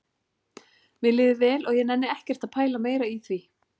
Mér líður vel og ég nenni ekkert að pæla meira í því